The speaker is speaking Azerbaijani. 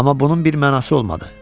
Amma bunun bir mənası olmadı.